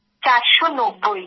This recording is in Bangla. চারশো নব্ব্ই